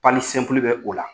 bɛ o la